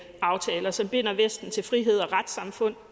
aftaler som binder vesten til frihed og retssamfund